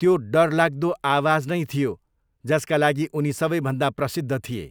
त्यो डरलाग्दो आवाज नै थियो जसका लागि उनी सबैभन्दा प्रसिद्ध थिए।